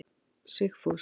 Sigfús